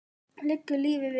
Liggur lífið við?